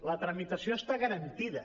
la tramitació està garantida